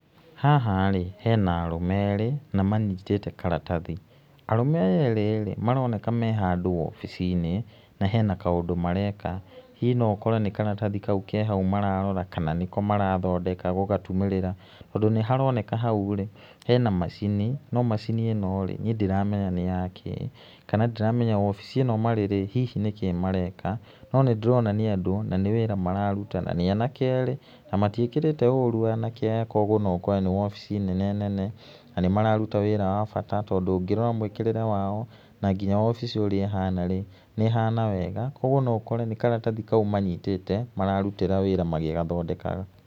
Haha rĩ, hena arũme erĩ na manyitĩte karatathi, arũme aya erĩ rĩ, maroneka me handũ wobici-inĩ na hena kaũndũ mareka, hihi no ũkore nĩ karathi kau mararora, kana nĩko marathondeka gũgatumĩrĩra. Tondũ nĩ haroneka hau rĩ, hena macini, no macini ín rĩĩ, niĩ ndiramenya nĩ yakĩ. Kana ndiramenya wobici ĩno marĩ, hihi nĩkĩ mareka, no nĩ ndĩrona nĩ andũ na wĩra mararuta, na nĩ anake erĩ na matiĩkĩrĩte ũru, anake aya kuũguo no ũkore nĩ wobici nene nene na nĩ mararuta wĩra wa bata tondũ ũngĩrora mwĩkĩríĩe wao, na nginya wobici ũrĩa ĩhana rĩ, nĩ ĩhana wega. Kuonguo no ũkore nĩ karatathi kau manyitĩte mararutĩra wĩra magĩgathondekaga.